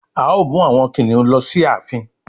A o mú àwọn kìnìún ló sì ààfin.